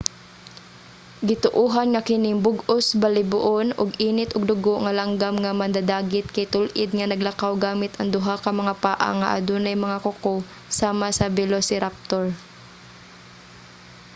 gituohan nga kining bug-os balhiboon ug init og dugo nga langgam nga mandadagit kay tul-id nga naglakaw gamit ang duha ka mga paa nga adunay mga kuko sama sa velociraptor